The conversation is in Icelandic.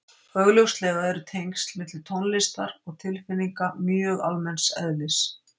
Augljóslega eru tengsl milli tónlistar og tilfinninga mjög almenns eðlis.